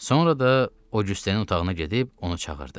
Sonra da Oqüstin otağına gedib onu çağırdı.